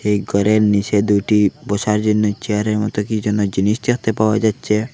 এই ঘরের নীচে দুইটি বসার জন্য চেয়ারের মতো কী যেন জিনিস দেখতে পাওয়া যাচ্ছে।